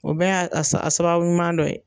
O bɛɛ y'a a s a sababu ɲuman dɔ ye.